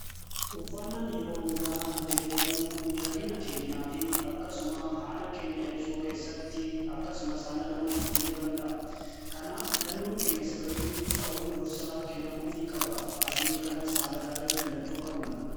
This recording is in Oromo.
Uffannaan yeroo hundaa nuti uffannuu miidhagina keenyaa fi akkasumas haala keenya ibsuu keessatti akkasumas haala namaa jijjiiruu danda'a. Kanaaf filannoon keenya sirrii ta'un dursaa kennamuufi qaba. Faashinii kana haala gaariin filachuu qabna.